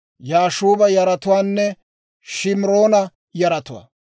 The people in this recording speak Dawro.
Yaashuuba yaratuwaanne Shimiroona yaratuwaa.